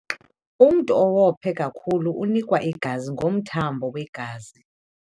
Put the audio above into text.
Umntu owophe kakhulu unikwe igazi ngomthambo wegazi.